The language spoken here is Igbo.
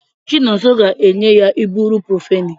Chinonso ga-aga enye ya iburuprofeni